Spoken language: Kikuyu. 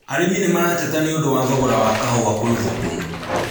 Arĩmĩ nĩmarateta nĩũndũ wa thogora wa kahũa kwĩ ũthũkũmu